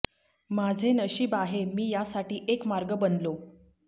माझे नशीब आहे मी यासाठी एक मार्ग बनलो